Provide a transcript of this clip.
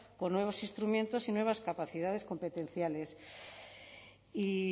con nuevos instrumentos y nuevas capacidades competenciales y